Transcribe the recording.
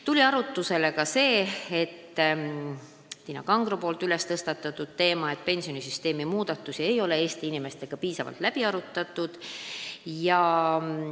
Tuli arutusele ka Tiina Kangro tõstatatud teema, et pensionisüsteemi muudatusi ei ole Eesti inimestega piisavalt läbi arutatud.